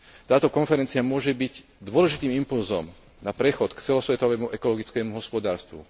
Táto konferencia môže byť dôležitým impulzom na prechod k celosvetovému ekologickému hospodárstvu.